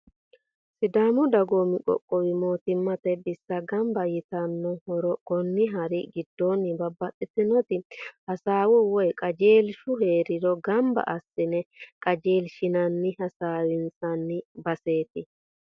Sidaamu dagoomi qoqqowi mootumate bissa gamba yitano hara, koni hari gidooni babaxitinoti hasawu woyi qajeelishu heeriro gamba asi'ne qajeelishinanninna hasawi'nsanni baseeti